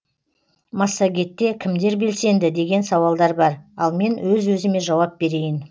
массагетте кімдер белсенді деген сауалдар бар ал мен өз өзіме жауап берейін